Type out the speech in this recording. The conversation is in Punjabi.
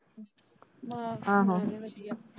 ਮੇਰਾ ਵੀ ਵਧੀਆ।